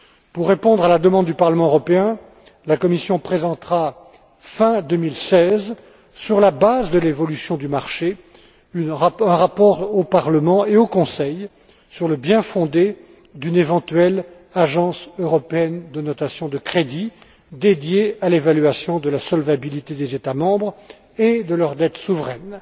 Pour répondre à la demande du Parlement européen, la Commission présentera, fin 2016, sur la base de l'évolution du marché, un rapport au Parlement européen et au Conseil, sur le bien fondé d'une éventuelle Agence européenne de notation de crédit, dédiée à l'évaluation de la solvabilité des États membres et de leurs dettes souveraines.